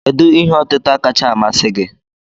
Kedu ihe otịta kachasị masị gi?